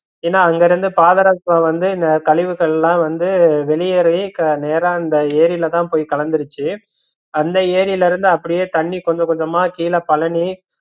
ஏன்னா அங்க இருந்து பாதரசம் வந்து இந்த கழிவுகளாம் வந்து வெளியேறவே நேரா அந்த எரிலத போய் கலந்துருச்சு அந்த எரிலிருந்து அப்படியே தண்ணி கொஞ்ச கொஞ்சமா கீழ பழனி